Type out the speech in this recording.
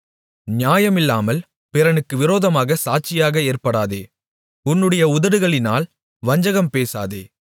நியாயமில்லாமல் பிறனுக்கு விரோதமாகச் சாட்சியாக ஏற்படாதே உன்னுடைய உதடுகளினால் வஞ்சகம் பேசாதே